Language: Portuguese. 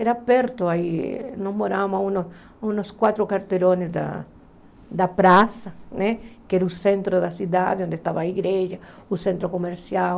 Era perto, aí nós morávamos a uns quatro quarteirões da da praça, que era o centro da cidade onde estava a igreja, o centro comercial.